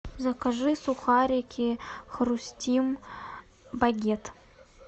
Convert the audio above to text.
закажи сухарики хрустим багет